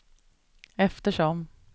eftersom